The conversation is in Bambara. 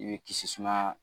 I bɛ kisi suma